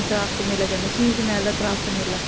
Craft ਮੇਲਾ ਕਹਿੰਦੇ ਆ, ਸ਼ੀਸ਼ ਮਹਿਲ ਦਾ craft ਮੇਲਾ।